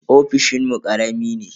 Ofishinmu karami ne.